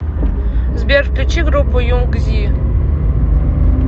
сбер включи группу юнг зи